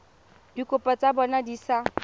dikopo tsa bona di sa